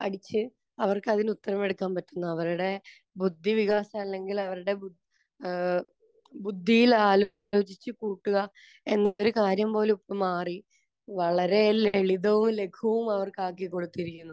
അടിച്ച് അവർക്കതിന് ഉത്തരമെടുക്കാൻ പറ്റുന്നു. അവരുടെ ബുദ്ധി വികാസം അല്ലെങ്കിൽ അവരുടെ ബു, ഏഹ് ബുദ്ധിയിൽ ആലോചിച്ച് കൂട്ടുക എന്നുള്ള കാര്യം പോലും ഇപ്പോൾ മാറി. വളരെ ലളിതവും ലഘുവും അവർക്ക് ആക്കിക്കൊടുത്തിരിക്കുന്നു.